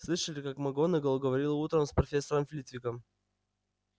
слышали как макгонагалл говорила утром с профессором флитвиком